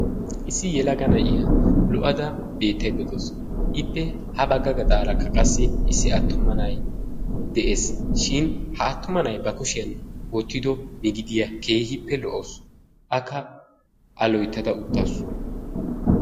Issi yelaga na'iya lo''ada beettaydda dawusu. Ippe ha bagga gaxaarakka qassi issi attuma na'ay dees. Shin ha attuma na'ay wottido migidiya keehippe lo''awusu, akka aA loyttada uttaasu.